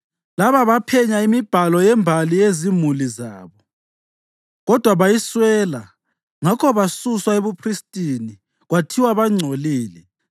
Laba baphenya imibhalo yembali yezimuli zabo, kodwa bayiswela ngakho basuswa ebuphristini kwathiwa bangcolile.